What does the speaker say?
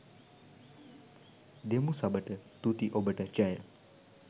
දෙමු සබට තුති ඔබට ජය